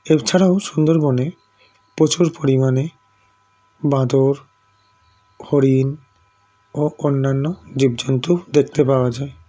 এরছাড়াও সুন্দরবনে প্রচুর পরিমাণে বাঁদর হরিণ ও অন্যান্য জীবজন্তু দেখতে পাওয়া যায়